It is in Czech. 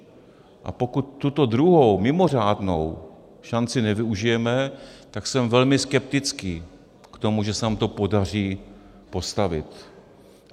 A pokud tuto druhou mimořádnou šanci nevyužijeme, tak jsem velmi skeptický k tomu, že se nám to podaří postavit.